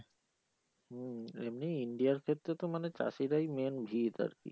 হম এমনি India এর ক্ষেত্রে তো মানে চাষীরাই main ভিত আরকি।